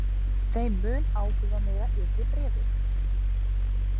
Þeim mun áhrifameira yrði bréfið.